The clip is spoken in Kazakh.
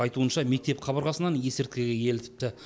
айтуынша мектеп қабырғасынан есірткіге елітіпті